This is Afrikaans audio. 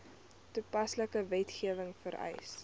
toepaslike wetgewing vereis